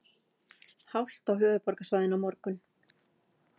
Hált á höfuðborgarsvæðinu á morgun